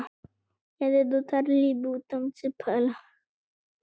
Þar var nes er þeir komu að.